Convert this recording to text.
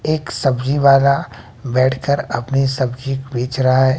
एक सब्जी वाला बैठ कर अपनी सब्जी बेच रहा है।